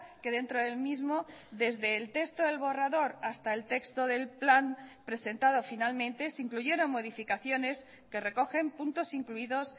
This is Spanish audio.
que dentro del mismo desde el texto del borrador hasta el texto del plan presentado finalmente se incluyeron modificaciones que recogen puntos incluidos